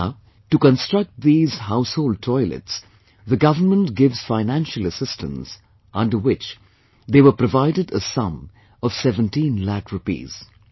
Now, to construct these household toilets, the government gives financial assistance, under which, they were provided a sum of 17 lakh rupees